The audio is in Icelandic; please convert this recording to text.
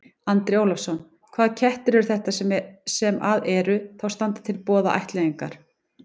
Andri Ólafsson: Hvaða kettir eru þetta sem að eru, þá standa til boða til ættleiðingar?